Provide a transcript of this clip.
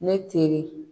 Ne teri